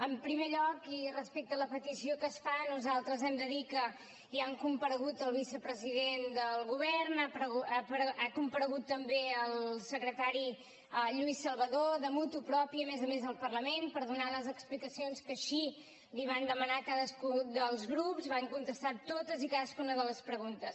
en primer lloc i respecte a la petició que es fa nosaltres hem de dir que ja ha comparegut el vicepresident del govern ha comparegut també el secretari lluís salvadó de motu proprio a més a més al parlament per donar les explicacions que així els van demanar cadascun dels grups van contestar totes i cadascuna de les preguntes